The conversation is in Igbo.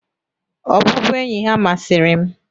Ọbụbụenyi ha masịrị m.